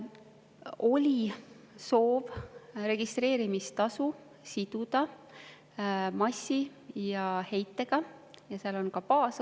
Oli soov siduda registreerimistasu massi ja heitega ning seal on ka baasosa.